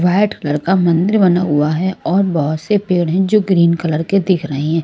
White colour का मंदिर बना हुआ है और बहुत से पेड़ हैं जो ग्रीन कलर के दिख रहे हैं।